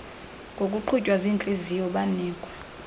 ngokuqhutywa ziintliziyo banikwa